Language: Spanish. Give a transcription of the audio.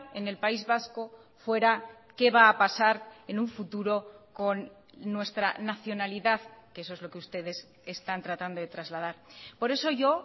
en el país vasco fuera qué va a pasar en un futuro con nuestra nacionalidad que eso es lo que ustedes están tratando de trasladar por eso yo